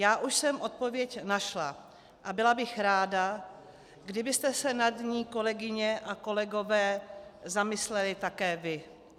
Já už jsem odpověď našla a byla bych ráda, kdybyste se nad ní, kolegyně a kolegové, zamysleli také vy.